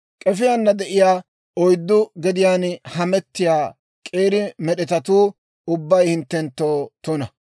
« ‹K'efiyaana de'iyaa oyddu gediyaan hametiyaa k'eeri med'etatuu ubbay hinttenttoo tuna.